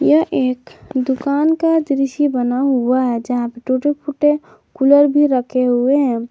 यह एक दुकान का दृश्य बना हुआ है जहां टूटे फूटे कूलर भी रखे हुए हैं।